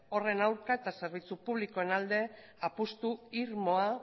horren aurka eta zerbitzu publikoen alde apustu irmoa